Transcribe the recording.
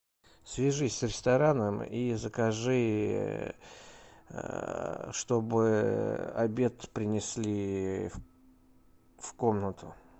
свяжись с рестораном и закажи чтобы обед принесли в комнату